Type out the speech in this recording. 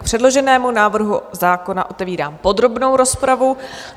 K předloženému návrhu zákona otevírám podrobnou rozpravu.